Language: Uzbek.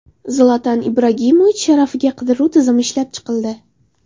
Zlatan Ibragimovich sharafiga qidiruv tizimi ishlab chiqildi.